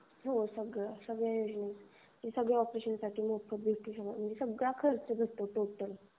हो सगळं सगळं योजनेत बसंत. सगळं ऑपरेशनचा सगळा खर्च मोफत.